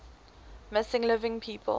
missing living people